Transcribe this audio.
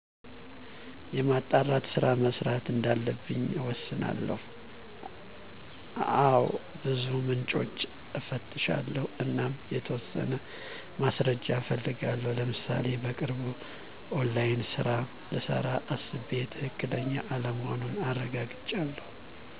የማጣራት ስራ መስራት እንዳለብኝ እወስናለሁ አወ ብዙ ምንጮችን እፈትሻለሁ እናም የተወሰነ ማስረጃ እፈልጋለሁ ለምሳሌ በቅርቡ ኦላይን ስራ ልሰራ አስቤ ትክክለኛ አለመሆኑን አረጋግጫለሁ።